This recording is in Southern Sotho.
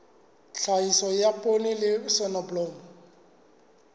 tlhahiso ya poone le soneblomo